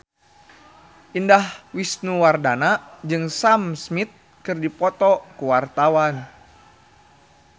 Indah Wisnuwardana jeung Sam Smith keur dipoto ku wartawan